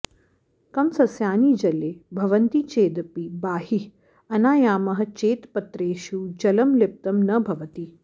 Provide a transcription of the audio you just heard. कमसस्यानि जले भवन्ति चेदपि बाहिः आनयामः चेत् पत्रेषु जलं लिप्तं न भवति